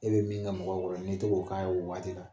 E bɛ min na mɔgɔw bolo n'i taar'o k'a ye o waati la